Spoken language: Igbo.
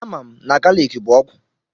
Amam na galiki bụ ọgwụ.